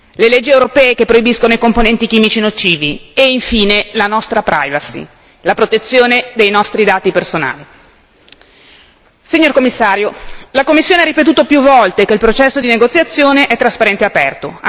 le leggi europee che proibiscono i componenti chimici nocivi e infine la nostra la protezione dei nostri dati personali. Signor Commissario, la Commissione ha ripetuto più volte che il processo di negoziazione è trasparente e aperto.